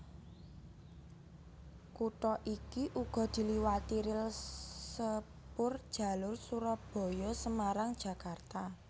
Kutha iki uga diliwati ril sepurjalur Surabaya Semarang Jakarta